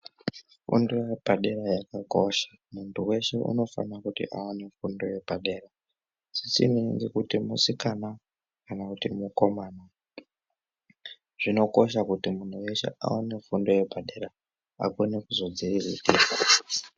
Fundo yepadera yakakosha, muntu weshe unofana kuwana fundo yepadera. Zvisinei nekuti musikana kana kuti mukomana. Zvinokosha kuti muntu weshe aone fundo yepadera akone kuzodziriritira.